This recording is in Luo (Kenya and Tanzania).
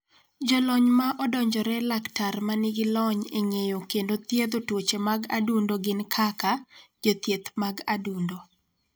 Jolony ma Odonjore Laktar ma nigi lony e ng�eyo kendo thiedho tuoche mag adundo gin kaka: Jothieth mag adundo.